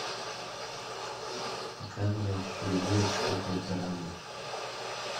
показывай фильмец в духе драмы